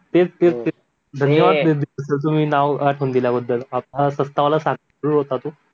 तेच तेच धन्यवाद सर तुम्ही नाव आठवून दिल्याबद्दल